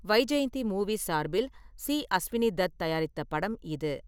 Vyjayanthi Movies சார்பில் C. Ashwini Dutt தயாரித்த படம் இது.